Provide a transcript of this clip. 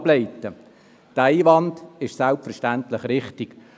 Dieser Einwand ist selbstverständlich richtig.